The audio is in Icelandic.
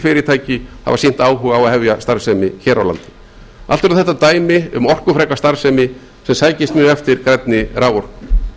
sólarkísilfyrirtæki hafa sýnt áhuga á að hefja starfsemi hér á landi allt eru þetta dæmi um orkufreka starfsemi sem sækist mjög eftir grænni raforku